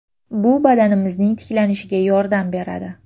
Bu badanimizning tiklanishiga yordam beradi.